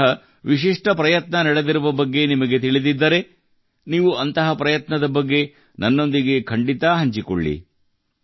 ಇಂತಹ ವಿಶಿಷ್ಠ ಪ್ರಯತ್ನ ನಡೆದಿರುವ ಬಗ್ಗೆ ನಿಮಗೆ ತಿಳಿದಿದ್ದರೆ ನೀವು ಅಂತಹ ಪ್ರಯತ್ನದ ಬಗ್ಗೆ ನನ್ನೊಂದಿಗೆ ಖಂಡಿತಾ ಹಂಚಿಕೊಳ್ಳಿ